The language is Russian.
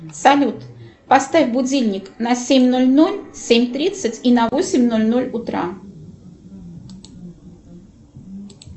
салют поставь будильник на семь ноль ноль семь тридцать и на восемь ноль ноль утра